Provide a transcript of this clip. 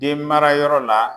Den mara yɔrɔ la